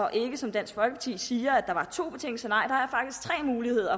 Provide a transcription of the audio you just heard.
og ikke som dansk folkeparti siger to muligheder